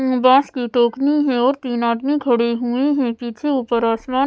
बास की टोकनी है और तीन आदमी खड़ी हुए है पीछे ऊपर आसमान--